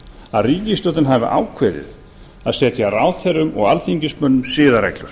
að ríkisstjórnin hafi ákveðið að setja ráðherrum og alþingismönnum siðareglur